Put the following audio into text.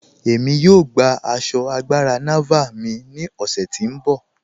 Ẹ̀mí yóò gbà àṣọ́ àgbàrá Nàvàl mí ni ọ̀ṣẹ̀ ti n bọ.